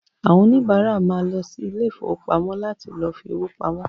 Àwọn òníbárà ma lọ sí ilé ìfowópamọ́ láti lọ fi owó pamọ́